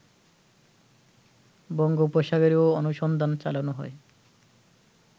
বঙ্গোপসাগরেও অনুসন্ধান চালানো হয়